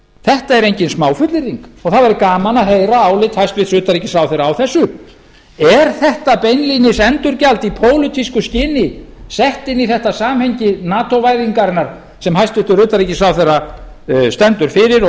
þetta er engin smáfullyrðing og það væri gaman að heyra álit hæstvirts utanríkisráðherra á þessu er þetta beinlínis endurgjald í pólitísku skyni sett inn í þetta samhengi nato væðingarinnar sem hæstvirtur utanríkisráðherra stendur fyrir og við